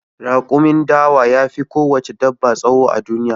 Raƙumin dawa ya fi ko wace dabba tsawo a duniya